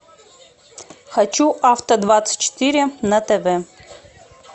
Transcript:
хочу авто двадцать четыре на тв